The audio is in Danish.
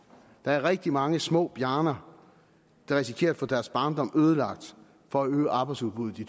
der er rigtig mange små bjarner der risikerer at få deres barndom ødelagt for at øge arbejdsudbuddet i